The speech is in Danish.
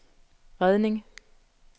redning